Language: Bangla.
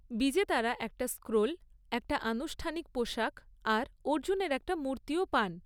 বিজেতারা একটা স্ক্রোল, একটা আনুষ্ঠানিক পোশাক আর অর্জুনের একটা মূর্তিও পান।